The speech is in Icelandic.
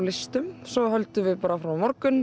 svo höldum við áfram á morgun